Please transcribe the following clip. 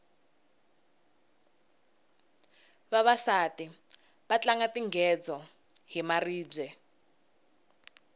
vavasati va tlanga tingedzo hi maribye